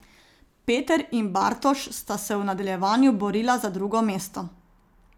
Peter in Bartoš sta se v nadaljevanju borila za drugo mesto.